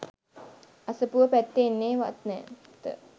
අසපුව පැත්තේ එන්නේ වත් නැත